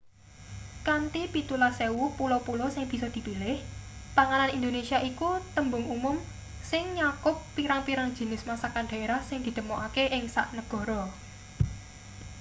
kanthi 17,000 pulo-pulo sing bisa dipilih panganan indonesia iku tembung umum sing nyakup pirang-pirang jinis masakan daerah sing ditemokake ing sak negara